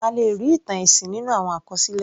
A lè rí ìtàn ẹ̀sìn nínú àwọn àkọsílẹ̀.